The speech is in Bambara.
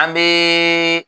An bee.